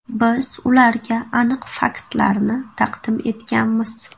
Biz ularga aniq faktlarni taqdim etganmiz.